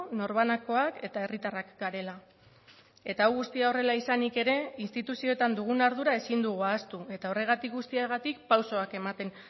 norbanakoak eta herritarrak garela eta hau guztia horrela izanik ere instituzioetan dugun ardura ezin dugu ahaztu eta horregatik guztiagatik pausoak ematen